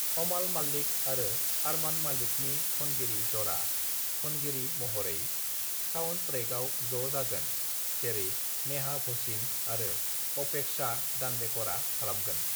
"अमाल माल्लिक आरो अरमान मल्लिकनि खनगिरि जरा, खनगिरि महरै साउंडट्रैकआव ज' जागोन, जेरै नेहा भसीन आरो अपेक्षा दांडेकरआ खालामगोन।"